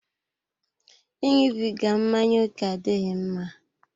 I ịṅụbiga mmanya ókè adịghị mma.